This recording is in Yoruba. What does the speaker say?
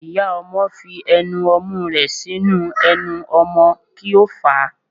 Iyá ọmọ fí enú omú rẹ sinú enú ọmọ ki o fa